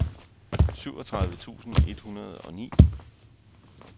syvogtredive tusind et hundrede og ni